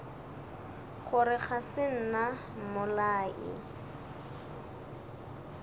gore ga se nna mmolai